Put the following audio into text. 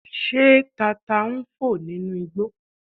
Ṣé tata ń fò nínú igbó